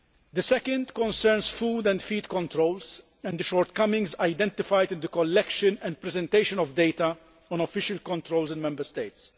The second concerns food and feed controls and the shortcomings identified in the collection and presentation of data on official controls in Member States.